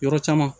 Yɔrɔ caman